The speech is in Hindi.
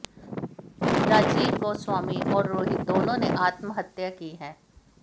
राजीव गोस्वामी और रोहित दोनों ने आत्महत्या की है